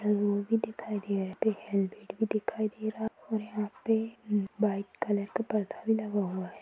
दिखाई दे रहा है हेल्मेट भी दिखाई दे रहा है और यहाँ पे वाइट कलर का पर्दा भी लगा हुआ है।